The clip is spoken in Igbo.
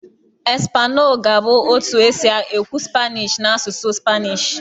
"Español" ga-abụ otu esi ekwu "Spanish" n'asụsụ Spanishi.